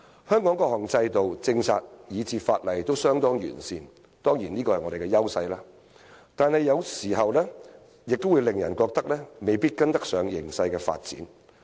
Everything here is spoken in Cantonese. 香港的各項制度、政策以至法例都相當完善，這當然是我們的優勢，但有時卻令人感到未必跟得上形勢的發展。